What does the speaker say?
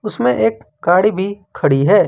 इसमें एक गाड़ी भी खड़ी है।